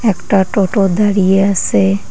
একটা টোটো দাঁড়িয়ে আসে ।